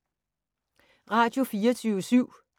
Radio24syv